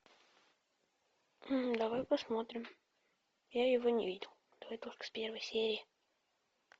давай посмотрим я его не видел давай только с первой серии